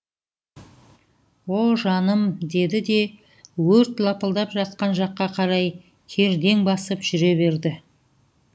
о жаным деді де өрт лапылдап жатқан жаққа қарай кердең басып жүре берді